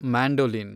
mandolin